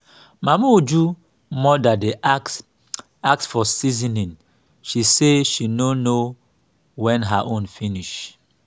mama uju mother dey ask ask for seasoning she say she no know wen her own finish